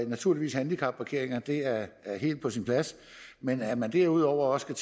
naturligvis handicapparkeringspladser er helt på sin plads men at man derudover også